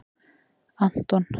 Anton